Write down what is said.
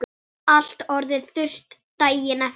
Allt orðið þurrt daginn eftir.